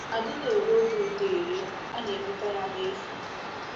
A dịghị ere obi ụtọ ere; a na-enweta ya n’efu.